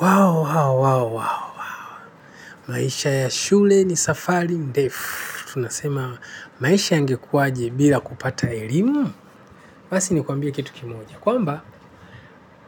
Waw, waw, waw, waw. Maisha ya shule ni safari. Ndefu, tunasema maisha yangekuwaje bila kupata elimu. Basi ni kuambie kitu kimoja. Kwamba,